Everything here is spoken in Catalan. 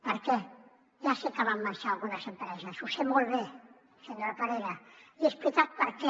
per què ja sé que van marxar algunes empreses ho sé molt bé senyor parera i he explicat per què